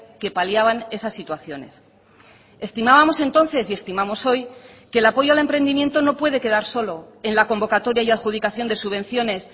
que paliaban esas situaciones estimábamos entonces y estimamos hoy que el apoyo al emprendimiento no puede quedar solo en la convocatoria y adjudicación de subvenciones